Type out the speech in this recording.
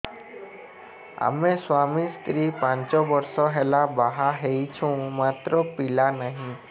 ଆମେ ସ୍ୱାମୀ ସ୍ତ୍ରୀ ପାଞ୍ଚ ବର୍ଷ ହେଲା ବାହା ହେଇଛୁ ମାତ୍ର ପିଲା ନାହିଁ